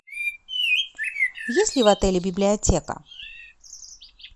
есть ли в отеле библиотека